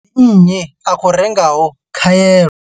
Ndi nnyi a khou rengaho khaelo?